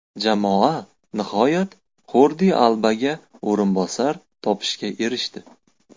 Jamoa nihoyat Xordi Albaga o‘rinbosar topishga erishdi.